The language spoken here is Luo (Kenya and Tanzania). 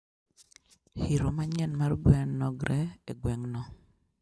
hiro manyien mar gwen nogr e gweng'no